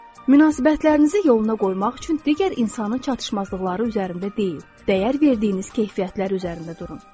Münasibətlərinizi yoluna qoymaq üçün digər insanın çatışmazlıqları üzərində deyil, dəyər verdiyiniz keyfiyyətlər üzərində durun.